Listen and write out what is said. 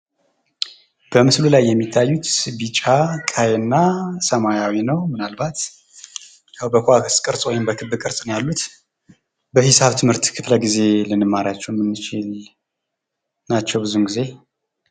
በምስሉ ላይ የሚታዩት ቢጫ፣ ቀይና ሰማያዊ ነው። ምናልባት በኳስ ወይም በክብ ቅርፅ ነው ያሉት በሂሳብ ትምህርት ክፍለ ጊዜ ልንማራቸው የምንችል ናቸው ብዙ ጊዜ።